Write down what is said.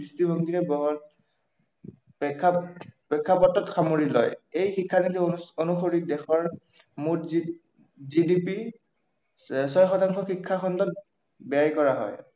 দৃষ্টিভঙ্গীৰে প্ৰেক্ষাপটত সামৰি লয়। এই শিক্ষানীতি অনুসৰি দেশৰ মুঠ জিডিপি ছয় শতাংশ শিক্ষা খণ্ডত ব্য়য় কৰা হয়